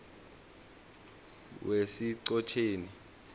wesichotjeni